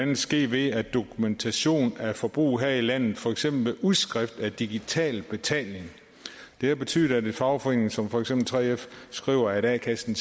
kan ske ved dokumentation af forbrug her i landet for eksempel ved udskrift af digital betaling det har betydet at en fagforening som for eksempel 3f skriver at a kassen